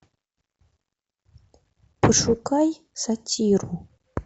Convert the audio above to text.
пошукай сатиру